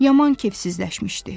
Yaman kefsizləşmişdi.